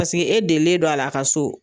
Paseke e delilen don a la a ka so